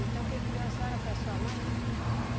Então quem criou a senhora foi a sua mãe?